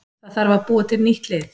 Það þarf að búa til nýtt lið.